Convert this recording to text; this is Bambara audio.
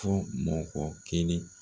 Fɔ mɔgɔ kelen